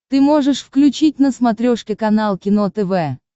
ты можешь включить на смотрешке канал кино тв